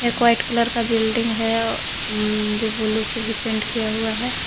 एक white colour का building है ऊं ऊं जो ब्लू से भी पेंट किया हुआ है।